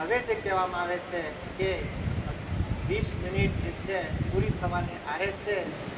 હવે જે કહેવામાં આવે છે કે વીસ મિનિટ જે છે પૂરી થવાની આરે છે